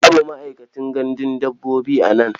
Babu ma'aikacin gandun dabbobi a nan.